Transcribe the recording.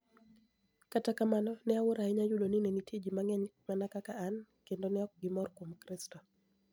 Kata kamano, ni e awuoro ahiniya yudo nii ni e niitie ji manig'eniy mania kaka ani, kenido ni eok gimor kuom kristo.